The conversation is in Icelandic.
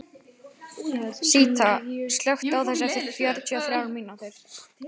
Síta, slökktu á þessu eftir fjörutíu og þrjár mínútur.